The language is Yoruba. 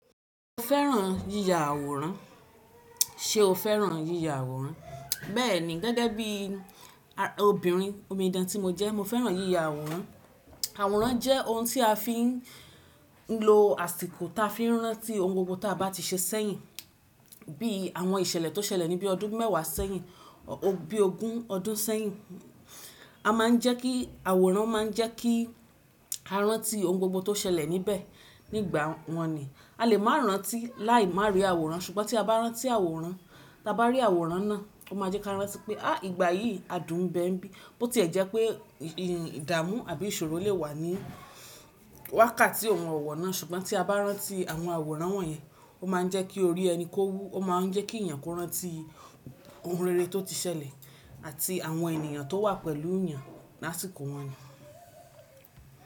Ṣé o fẹ́ràn yíya àwòrán? Ṣé o fẹ́ràn yíya àwòrán? Bẹ́ẹ̀ni gẹ́gẹ́ bí obìnrin omidan tí mo jẹ́ mo fẹ́ràn yíya àwòrán. Àwòrán jẹ́ ohun tí a fi ń lo àsìkò táa fi rántí ohun gbogbo tí a bá ti ṣe sẹ́yìn bí àwọn ìṣẹ̀lẹ̀ tó ṣẹlẹ̀ ní bí ọdún mẹ́wàá sẹ́yìn, bí ogún ọdún sẹ́yìn. A máa ń jẹ́ kí àwòrán máa ń jẹ́ kí a rántí ohun gbogbo tó ṣẹlẹ̀ níbẹ̀ nígbà wọ̀n ni. A lè máa rántí láì máa rí àwòrán ṣùgbọ́n tí a bá rántí àwòrán, tí a bá rí àwòrán náà, ó máa jẹ́ kí a rántí pé a ìgbà yìí adùn ń bẹ bí. Bó tí ẹ jẹ́ pé ìdààmú àbí ìṣòro lè wà ní wákàtí oun òwò na ṣùgbọ́n tí a bá rántí àwọn àwòrán wọ̀nyẹn ó máa ń jẹ́ kí orí ẹni kó wú ó máa ń jẹ́ kí èèyàn kó rántí ohun rere tó ti ṣẹlẹ̀ àti àwọn ènìyàn tó wà pẹ̀lú yàn lásìkò wọ̀n nyi.